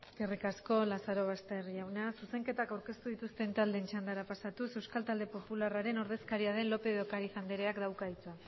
eskerrik asko lazarobaster jauna zuzenketak aurkeztu dituzten taldeen txandara pasatuz euskal talde popularraren ordezkaria den lópez de ocariz andereak dauka hitza